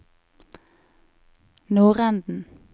nordenden